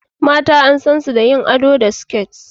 Mata an san su da yin ado da siket